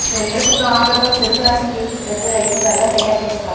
చెరుకు గానుగతో చెరుకు రసం తీసి ప్రతి రైతు బెల్లం తయారు చేస్తారు